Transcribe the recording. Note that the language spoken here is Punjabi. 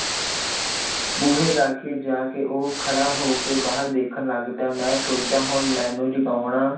ਬੂਹੇ ਲਾਗੇ ਜਾ ਕੇ ਉਹ ਖੜਾ ਹੋ ਕੇ ਬਾਹਰ ਦੇਖਣ ਲੱਗ ਪਿਆ ਮੈਂ ਸੋਚਿਆ ਹੁਣ ਮੈਨੂੰ ਜਤਾਉਣਾ